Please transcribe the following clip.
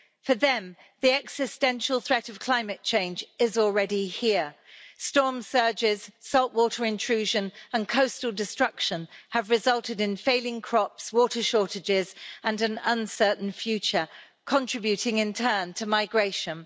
For them, the existential threat of climate change is already here storm surges, saltwater intrusion and coastal destruction have resulted in failing crops, water shortages and an uncertain future contributing, in turn, to migration.